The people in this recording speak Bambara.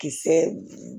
Kisɛ